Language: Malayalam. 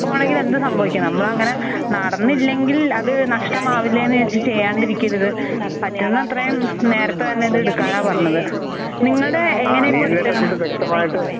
വേണമെങ്കിലും എന്തും സംഭവിക്കാം. നമ്മൾ അങ്ങനെ നടന്നില്ലെങ്കിൽ അത് നഷ്ടമാവില്ലേ എന്ന് വിചാരിച്ച് ചെയ്യാണ്ടിരിക്കരുത്. പറ്റുന്ന അത്രയും നേരത്തെ തന്നെ അത് എടുക്കാൻ ആണ് പറഞ്ഞത്. നിങ്ങളുടെ എങ്ങനെ കൊടുത്തത്?